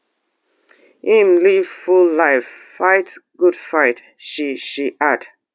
im live full life fight good fight she she add